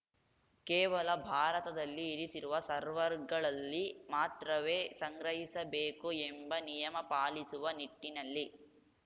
ಕೇವಲ ಭಾರತದಲ್ಲಿ ಇರಿಸಿರುವ ಸರ್ವರ್‌ಗಳಲ್ಲಿ ಮಾತ್ರವೇ ಸಂಗ್ರಹಿಸಬೇಕು ಎಂಬ ನಿಯಮ ಪಾಲಿಸುವ ನಿಟ್ಟಿನಲ್ಲಿ